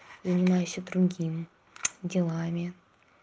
занимайся другим делами